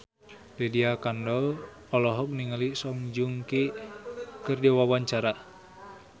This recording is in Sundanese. Lydia Kandou olohok ningali Song Joong Ki keur diwawancara